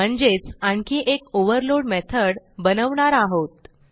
म्हणजेच आणखी एक ओव्हरलोड मेथड बनवणार आहोत